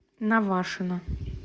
навашино